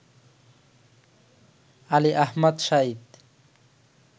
Ali Ahmad Saeed